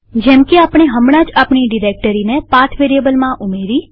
જેમકે આપણે હમણાં જ આપણી ડિરેક્ટરીને પાથ વેરીએબલમાં ઉમેરી